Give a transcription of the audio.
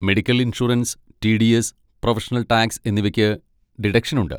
Medical insurance, TDS., professional tax എന്നിവയ്ക്ക് deduction ഉണ്ട്.